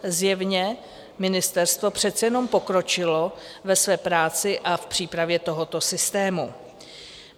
Zjevně ministerstvo přece jenom pokročilo ve své práci a v přípravě tohoto systému.